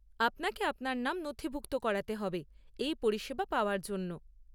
আপনাকে আপনার নাম নথিভুক্ত করাতে হবে এই পরিষেবা পাওয়ার জন্য।